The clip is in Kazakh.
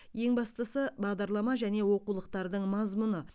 ең бастысы бағдарлама және оқулықтардың мазмұны